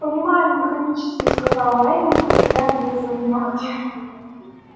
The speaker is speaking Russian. понимаю механически сказал лэннинг разглядывая свои ногти